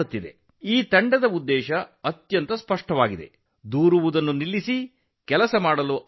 ಅವರ ಧ್ಯೇಯವಾಕ್ಯವು ತುಂಬಾ ಸ್ಪಷ್ಟವಾಗಿದೆ ದೂರುವುದನ್ನು ನಿಲ್ಲಿಸಿ ಕೆಲಸ ಆರಂಭಿಸಿ